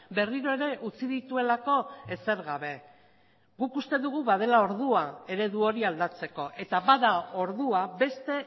berriro ere utzi dituelako ezer gabe guk uste dugu badela ordua eredu hori aldatzeko eta bada ordua beste